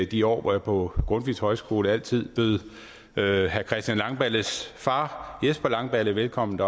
de år hvor jeg på grundtvigs højskole altid bød herre christian langballes far jesper langballe velkommen